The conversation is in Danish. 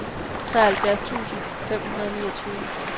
treoghalvfjerds tusind fem hundrede og niogtyve